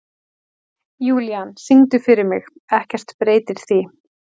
Júlían, syngdu fyrir mig „Ekkert breytir því“.